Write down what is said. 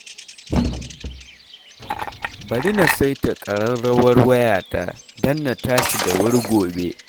Bari na saita ƙararrawar wayata don na tashi da wuri gobe